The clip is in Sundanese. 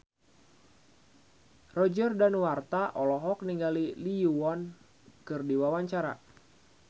Roger Danuarta olohok ningali Lee Yo Won keur diwawancara